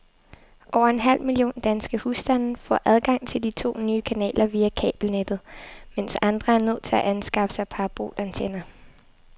Over en halv million danske husstande får adgang til de to nye kanaler via kabelnettet, mens andre er nødt til at anskaffe sig parabolantenner.